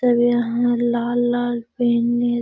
सब यहाँ लाल-लाल पेन नियत --